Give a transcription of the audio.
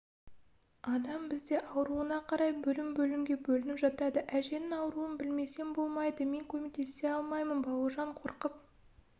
адам бізде ауруына қарай бөлім-бөлімге бөлініп жатады әжеңнің ауруын білмесең болмайды мен көмектесе алмаймын бауыржан қорқып